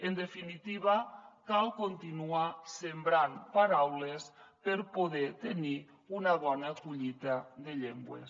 en definitiva cal continuar sembrant paraules per poder tenir una bona collita de llengües